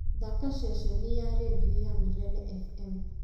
thaaka ceceni ya rĩndiũ ya milele f.m.